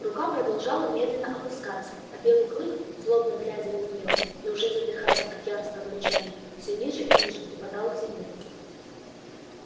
рука продолжала медленно опускаться а белый клык злобно глядя на нее и уже задыхаясь от яростного рычания все ниже и ниже припадал к земле